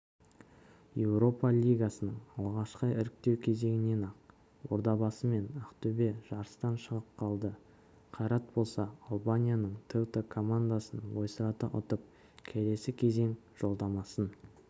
еуропа лигасының алғашқы іріктеу кезеңінен-ақ ордабасы мен ақтөбе жарыстан шығып қалды қайрат болса албанияның теута командасын ойсырата ұтып келесі кезең жолдамасын